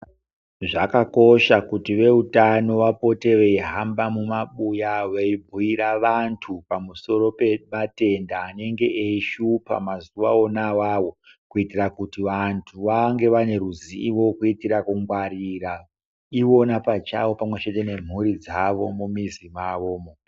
Zvakakosha kuti vehutano vapote vehamba mumabuya veyibuyira vantu pamusoro pematenda anenge eyishupa mazuwa wona wawo, kuitira kuti vantu vange vaneruzivo, kuitira kungwarira ivona pachawo pamwe chete nemhuri dzavo mumizi mavo mo.